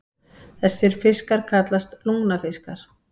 Þessir fiskar kallast lungnafiskar.